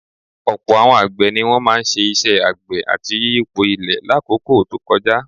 Ọ̀pọ̀ àwọn àgbẹ̀ ni wọ́n máa ń ṣe iṣẹ́ àgbẹ̀ àti yíyipo ilẹ̀ lákòókò tó kọjá